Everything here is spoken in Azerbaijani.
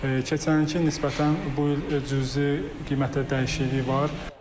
Keçən ilki nisbətən bu il cüzi qiymətdə dəyişikliyi var.